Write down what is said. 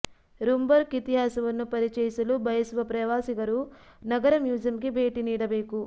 Rumburk ಇತಿಹಾಸವನ್ನು ಪರಿಚಯಿಸಲು ಬಯಸುವ ಪ್ರವಾಸಿಗರು ನಗರ ಮ್ಯೂಸಿಯಂಗೆ ಭೇಟಿ ನೀಡಬೇಕು